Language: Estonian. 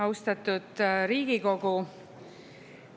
Austatud Riigikogu!